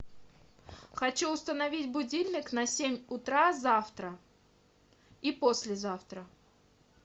хочу установить будильник на семь утра завтра и послезавтра